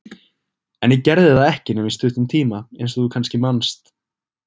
En ég gerði það ekki nema í stuttan tíma, eins og þú kannski manst.